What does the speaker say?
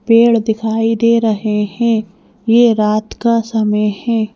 पेड़ दिखाई दे रहे हे ये रात का समय हे।